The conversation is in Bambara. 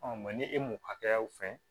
ni e m'o hakɛyaw fɛn